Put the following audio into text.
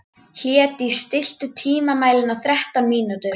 Hlédís, stilltu tímamælinn á þrettán mínútur.